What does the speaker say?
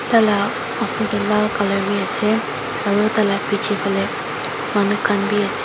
taila uffor teh lal colour beh ase aro taila bechi fali manu kan beh ase.